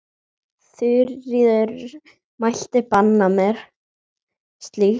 Þuríður mælti banna mér slíkt.